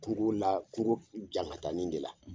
Kungo la kungo jankatanin de la.